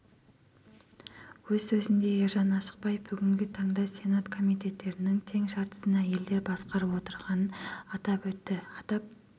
өз сөзінде ержан ашықбаев бүгінгі таңда сенат комитеттерінің тең жартысын әйелдер басқарып отырғанын атап өтті атап